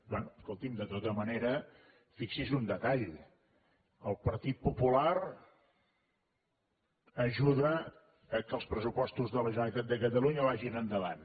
bé escolti’m de tota manera fixi’s en un detall el partit popular ajuda que els pressupostos de la generalitat de catalunya vagin endavant